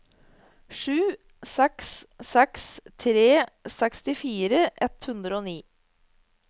sju seks seks tre sekstifire ett hundre og ni